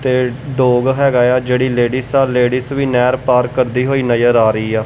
ਤੇ ਡੋਗ ਹੈਗਾ ਏ ਆ ਜਿਹੜੀ ਲੇਡੀਜ਼ ਆ ਲੇਡੀਜ਼ ਵੀ ਨਹਿਰ ਪਾਰ ਕਰਦੀ ਹੋਈ ਨਜਰ ਆ ਰਹੀ ਆ।